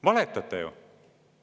Valetate ju!